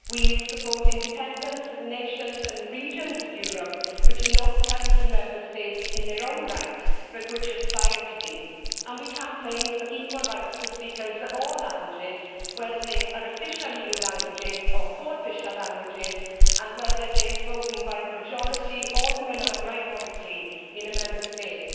We support independence for the nations and the regions of Europe that are not currently Member States in their own right but that aspire to be, and we campaign for equal rights for speakers of all languages, whether they are official EU languages or co official languages, and whether they are spoken by the majority or the minority in a Member State.